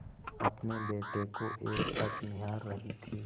अपने बेटे को एकटक निहार रही थी